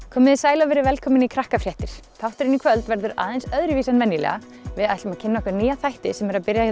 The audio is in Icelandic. komiði sæl og verið velkomin í þátturinn í kvöld verður aðeins öðruvísi en venjulega við ætlum að kynna okkur nýja þætti sem eru að byrja